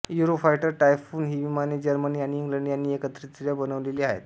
Eurofighter Typhoon ही विमाने Germany आणि इंग्लंड यांनी एकत्रितरित्या बनवलेली आहेत